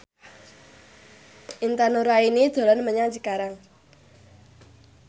Intan Nuraini dolan menyang Cikarang